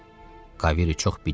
Kavery çox bic idi.